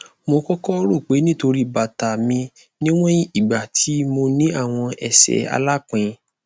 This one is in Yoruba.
mo kọkọ ro pe nitori bata mi niwọn igba ti mo ni awọn ẹsẹ alapin